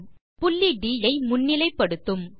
இது புள்ளி ட் ஐ முன்னிலை படுத்தும்